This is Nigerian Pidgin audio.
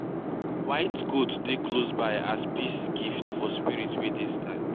white goat dey close by as peace gift for spirit wey dey sky.